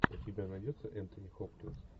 у тебя найдется энтони хопкинс